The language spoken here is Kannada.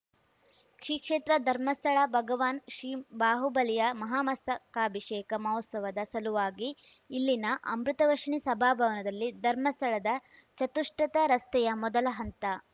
ಶ್ರೀ ಕ್ಷೇತ್ರ ಧರ್ಮಸ್ಥಳ ಭಗವಾನ್‌ ಶ್ರೀ ಬಾಹುಬಲಿಯ ಮಹಾಮಸ್ತಕಾಭಿಷೇಕ ಮಹೋತ್ಸವದ ಸಲುವಾಗಿ ಇಲ್ಲಿನ ಅಮೃತವರ್ಷಿಣಿ ಸಭಾಭವನದಲ್ಲಿ ಧರ್ಮಸ್ಥಳದ ಚತುಷ್ಪಥ ರಸ್ತೆಯ ಮೊದಲ ಹಂತ